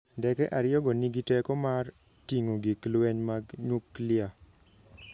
ndeke ariyogo nigi teko mar ting'o gik lweny mag nyuklia.